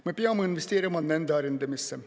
Me peame investeerima nende arendamisse.